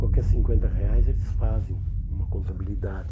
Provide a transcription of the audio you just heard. Qualquer cinquenta reais eles fazem uma contabilidade.